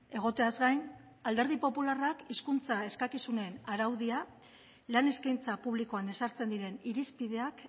egoteaz gain alderdi popularrak hizkuntza eskakizunen araudia lan eskaintza publikoan ezartzen diren irizpideak